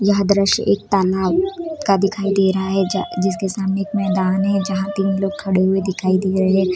यह दृश्य एक तालाब का दिखाई दे रहा है जा जिसके सामने एक मैदान है जहाँ तीन लोग खड़े हुए दिखाई दे रहे है।